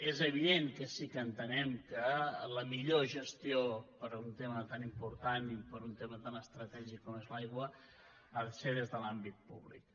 és evident que sí que entenem que la millor gestió per a un tema tan important i per a un tema tan estratègic com és l’aigua ha de ser des de l’àmbit públic